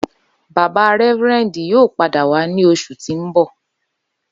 Baba Rev yoo pada wa ni oṣu ti n bọ.